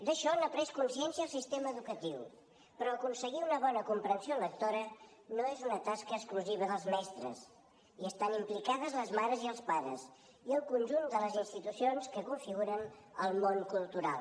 d’això n’ha pres consciència el sistema educatiu però aconseguir una bona comprensió lectora no és una tasca exclusiva dels mestres hi estan implicades les mares i els pares i el conjunt de les institucions que configuren el món cultural